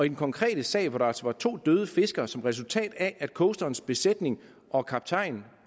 den konkrete sag hvor der altså var to døde fiskere som resultat af at coasterens besætning og kaptajn